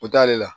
O t'ale la